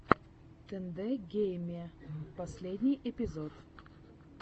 тэндэ геймэ первый эпизод